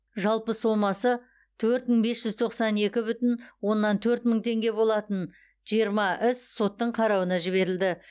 жалпы сомасы төрт мың бес жүз тоқсан екі бүтін оннан төрт мың теңге болатын жиырма іс соттың қарауына жіберілді